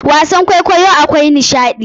Wasan kwaikwayo akwai nishaɗi.